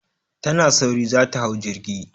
Tana ta sauri za ta hau jirgi.